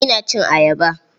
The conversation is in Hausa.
Ina cin ayaba.